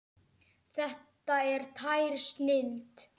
Þetta er tær snilld.